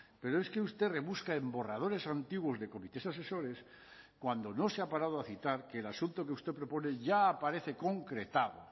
pero es que usted rebusca en borradores antiguos de comités asesores cuando no se ha parado a citar que el asunto que usted propone ya aparece concretado